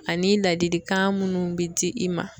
Ani ladilikan minnu bɛ di i ma.